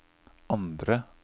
andre